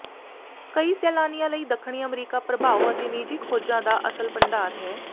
ਕਈ ਸੈਲਾਨੀਆਂ ਲਈ ਦੱਖਣੀ ਅਮਰੀਕਾ ਪ੍ਰਭਾਵ ਅਤੇ ਨਿੱਜੀ ਖੋਜਾਂ ਦਾ ਅਸਲ ਭੰਡਾਰ ਹੈ